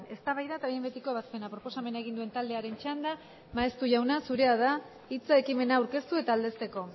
eztabaida eta behin betiko ebazpena proposamena egin duen taldearen txanda maeztu jauna zurea da hitza ekimena aurkeztu eta aldezteko